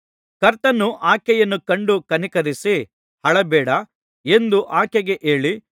ಕರ್ತನು ಆಕೆಯನ್ನು ಕಂಡು ಕನಿಕರಿಸಿ ಅಳಬೇಡ ಎಂದು ಆಕೆಗೆ ಹೇಳಿ